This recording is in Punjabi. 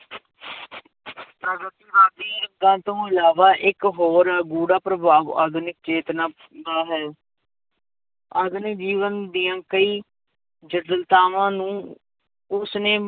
ਤੋਂ ਇਲਾਵਾ ਇੱਕ ਹੋਰ ਬੁਰਾ ਪ੍ਰਭਾਵ ਆਧੁਨਿਕ ਚੇਤਨਾ ਦਾ ਹੈ ਆਧੁਨਿਕ ਜੀਵਨ ਦੀਆਂ ਕਈ ਜਠਿਲਤਾਵਾਂ ਨੂੰ ਉਸਨੇ